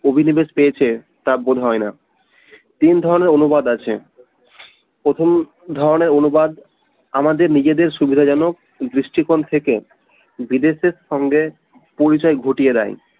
অভিনিবেশ পেয়েছে তা বোধ হয় না, তিন ধরনের অনুবাদ আছে প্রথম ধরনের অনুবাদ আমাদের নিজেদের সুবিধাজনক দৃষ্টিকোণ থেকে বিদেশের সঙ্গে পরিচয় ঘটিয়ে দেয়